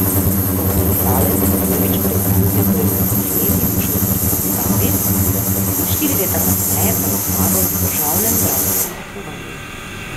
Kot igralec se je prvič preizkusil pri osmih letih v šolski predstavi, štiri leta kasneje pa je zmagal na državnem dramskem tekmovanju.